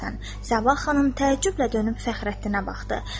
Səbah xanım təəccüblə dönüb Fəxrəddinə baxdı.